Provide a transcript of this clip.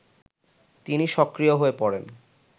তিনি সক্রিয় হয়ে পড়েন